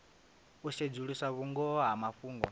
u sedzulusa vhungoho ha mafhungo